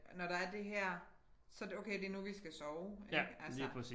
Når der er det her så det okay det nu vi skal sove ik altså